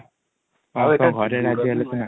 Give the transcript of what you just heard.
ହଁ ତାଙ୍କ ଘରେ ରାଜ୍ୟ ହେଲେ ସିନା |